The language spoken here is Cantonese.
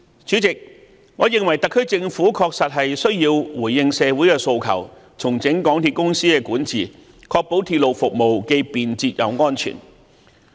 主席，我認為特區政府確實需要回應社會的訴求，重整港鐵公司的管治，確保鐵路服務既便捷又安全。